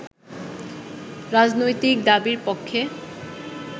রাজনৈতিক দাবির পক্ষে